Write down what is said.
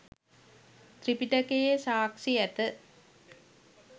ත්‍රිපිටකයේ සාක්ෂි ඇත